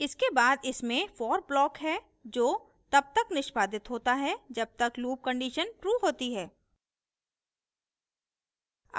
इसके बाद इसमें for block है जो तब तक निष्पादित होता है जब तक loop condition true होती है